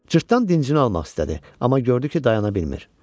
Cırtdan dincini almaq istədi, amma gördü ki, dayana bilmir.